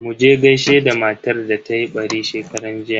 Muje gaishe da matar da tayi ɓari shekaran jiya.